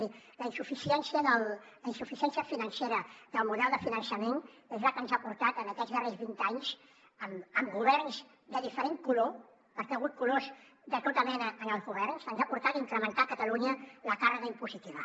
miri la insuficiència financera del model de finançament és la que ens ha portat en aquests darrers vint anys amb governs de diferent color perquè hi ha hagut colors de tota mena en els governs a incrementar a catalunya la càrrega impositiva